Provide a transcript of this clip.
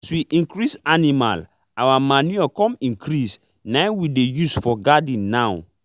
as we increase animal our manure come increase naim we dey use for garden now